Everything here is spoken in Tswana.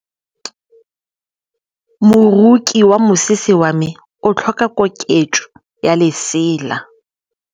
Moroki wa mosese wa me o tlhoka koketsô ya lesela.